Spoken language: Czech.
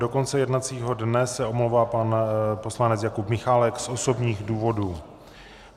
Do konce jednacího dne se omlouvá pan poslanec Jakub Michálek z osobních důvodů.